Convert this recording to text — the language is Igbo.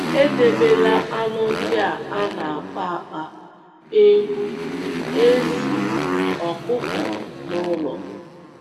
Edebela anụ ndị a na - akpa akpa — ewu, ezì, ọkụkọ — n’ụlọ.